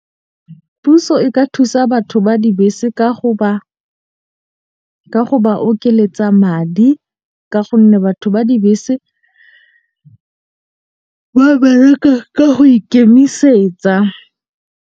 Puso e ka thusa batho ba dibese ka go ba ka go ba okeletsa madi. Ka gonne batho ba dibese ba bereka ka go ikemisetsa.